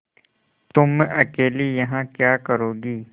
तुम अकेली यहाँ क्या करोगी